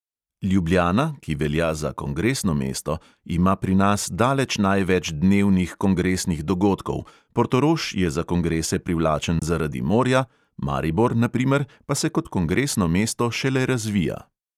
Ljubljana, ki velja za kongresno mesto, ima pri nas daleč največ dnevnih kongresnih dogodkov, portorož je za kongrese privlačen zaradi morja, maribor, na primer, pa se kot kongresno mesto šele razvija.